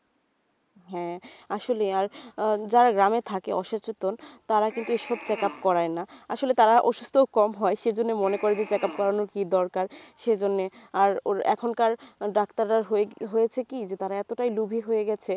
হ্যাঁ আসলেই আর যারা গ্রামে থাকে অসচেতন তারা কিন্তু এসব check up করায় না আসলে তারা অসুস্থও কম হয় সেই জন্যে মনে করে যে check up করানোর কি দরকার সেই জন্যে আর ওর এখনকার ডাক্তাররা ~ হয়েছে কি তারা এতটাই লোভী হয়ে গেছে.